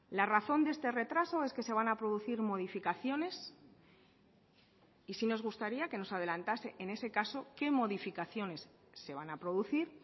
la razón de este retraso es que se van a producir modificaciones y sí nos gustaría que nos adelantase en ese caso qué modificaciones se van a producir